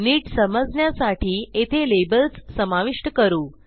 नीट समजण्यासाठी येथे लेबल्स समाविष्ट करू